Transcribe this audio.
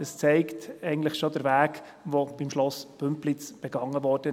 Das zeigt eigentlich schon der Weg, der beim Schloss Bümpliz begangen wurde.